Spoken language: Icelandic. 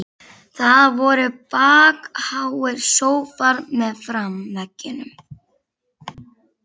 Það voru bakháir sófar meðfram veggjunum.